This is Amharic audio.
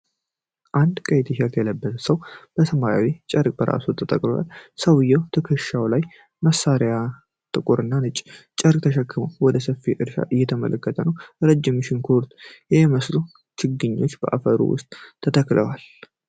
አንድ ቀይ ቲሸርት የለበሰ ሰው በሰማያዊ ጨርቅ ራሱን ጠቅልሏል። ሰውዬው ትከሻው ላይ መሳሪያና ጥቁርና ነጭ ጨርቅ ተሸክሞ ወደ ሰፊ እርሻ እየተመለከተ ነው። ረጅም ሽንኩርት የሚመስሉ ችግኞች በአፈሩ ውስጥ ተተክለዋል።